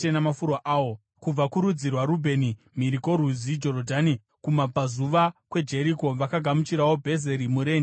kubva kurudzi rwaRubheni mhiri kworwizi Jorodhani kumabvazuva kweJeriko vakagamuchirwawo Bhezeri murenje, Jaza,